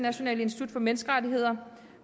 institut for menneskerettigheder